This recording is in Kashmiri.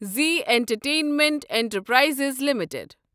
Zee Entertainment Enterprises limited